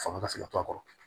Fanga ka se ka to a kɔrɔ